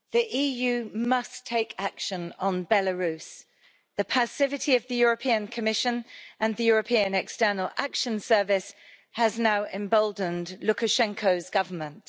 Mr President, the EU must take action on Belarus. The passivity of the Commission and the European External Action Service has now emboldened Lukashenko's government.